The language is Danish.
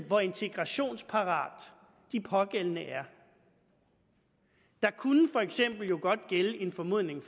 hvor integrationsparate de pågældende er der kunne for eksempel godt gælde en formodning